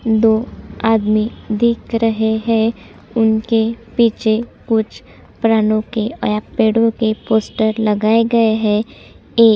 दो आदमी दिख रहे है उनके पीछे कुछ प्रानो के या पेड़ो के पोस्टर लगाये गए है एक --